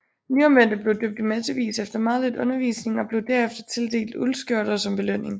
Nyomvendte blev døbt i massevis efter meget lidt undervisning og blev derefter tildelt uldskjorter som belønning